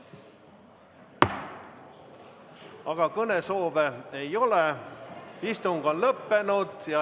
Aga kõnesoove ei ole, istung on lõppenud.